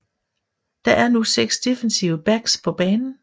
Der er nu seks defensive backs på banen